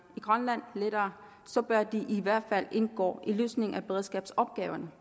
i grønland så bør de i hvert fald indgå i løsningen af beredskabsopgaven